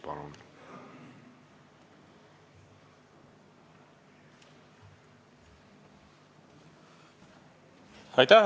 Palun!